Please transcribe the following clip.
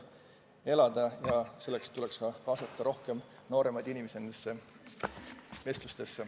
Selleks tuleks nendesse vestlustesse kaasata rohkem ka nooremaid inimesi.